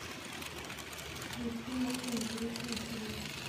включи новые интересные фильмы